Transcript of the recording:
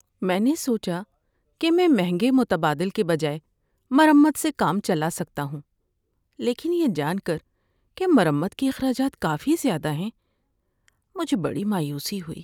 میں نے سوچا کہ میں مہنگے متبادل کے بجائے مرمت سے کام چلا سکتا ہوں، لیکن یہ جان کر کہ مرمت کے اخراجات کافی زیادہ ہیں، مجھے بڑی مایوسی ہوئی۔